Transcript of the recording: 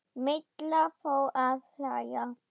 Milla fór að hlæja.